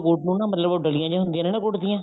ਗੁੜ ਨੂੰ ਨਾ ਮਤਲਬ ਡਲੀਆਂ ਜੀਆਂ ਹੁੰਦੀਆਂ ਨੇ ਗੁੜ ਦੀਆਂ